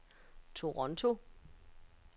Toronto